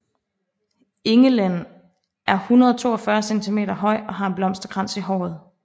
Engelen er 142 cm høj og har en blomsterkrans i håret